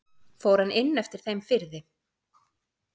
Fór hann inn eftir þeim firði.